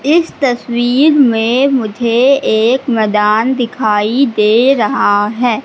इस तस्वीर मे मुझे एक मैदान दिखाई दे रहा है।